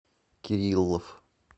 кириллов